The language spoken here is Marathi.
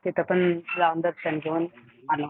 तिथं पण जाऊन, दर्शन घेऊन आलो.